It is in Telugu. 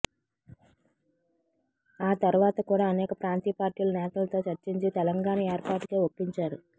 ఆ తర్వాత కూడా అనేక ప్రాంతీయ పార్టీల నేతలతో చర్చించి తెలంగాణ ఏర్పాటుపై ఒప్పించారు